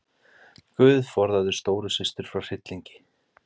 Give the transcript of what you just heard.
GUÐ forðaðu stóru systur frá hryllingi.